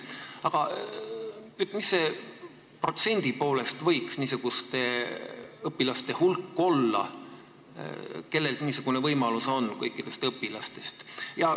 Aga kui suur võiks protsendi poolest olla kõigi õpilaste seas niisuguste õpilaste hulk, kellel see võimalus on?